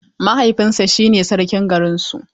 Mahaifinsa shine sarkin garin su.